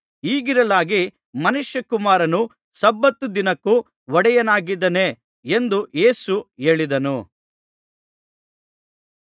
ಹೀಗಿರಲಾಗಿ ಮನುಷ್ಯಕುಮಾರನು ಸಬ್ಬತ್ ದಿನಕ್ಕೂ ಒಡೆಯನಾಗಿದ್ದಾನೆ ಎಂದು ಯೇಸು ಹೇಳಿದನು